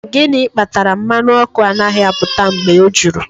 Gịnị kpatara mmanụ ọkụ anaghị apụta mgbe o juru?